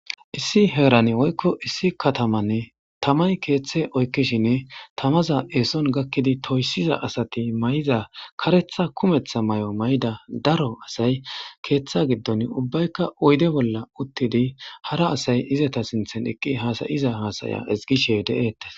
Issi heerane woykko issi katamanne taman keeththe oykkishinne tamaza eeson gakkidi toyssiza asati may'iza karetha kumetha may'o may'da daro asay keeththa giddon ubbaykka oyde bolla uttidi hara asay izata sinthen eqqi haasayiza haasaya igishe de7eettes.